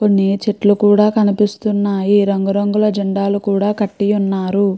కొన్ని చెట్లు కూడా కూడా కనిపిస్తున్నాయి రంగు రంగుల జెండాలు కూడా కట్టి ఉన్నారు.